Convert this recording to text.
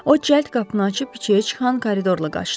O cəld qapını açıb içəriyə çıxan koridorla qaçdı.